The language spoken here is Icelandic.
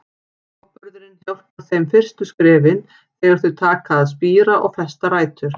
Áburðurinn hjálpar þeim fyrstu skrefin, þegar þau taka að spíra og festa rætur.